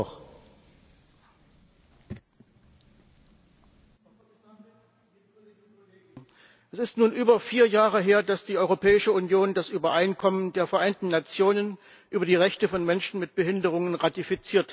Herr Präsident! Es ist nun über vier Jahre her, dass die Europäische Union das Übereinkommen der Vereinten Nationen über die Rechte von Menschen mit Behinderungen ratifiziert hat.